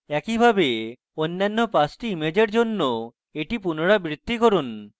একইভাবে অন্যান্য 5 the image জন্য এটি পুনরাবৃত্তি করুন